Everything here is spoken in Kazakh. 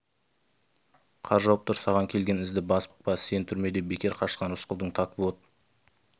қар жауып тұр саған келген ізді басып қалады қорықпа сен түрмеден бекер қашқан рысқұл так вот